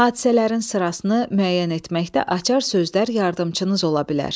Hadisələrin sırasını müəyyən etməkdə açar sözlər yardımçınız ola bilər.